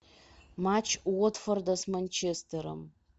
матч уотфорда с манчестером